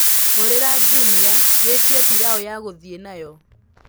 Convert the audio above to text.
hurira jumia wĩĩtĩe pĩlau ya guthii nayo